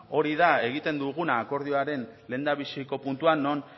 hori da egiten dugun akordioaren lehendabiziko puntua non